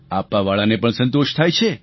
આપવાવાળાને પણ સંતોષ થાય છે